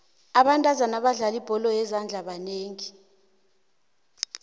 abentazana abadlala ibholo yezandla banengi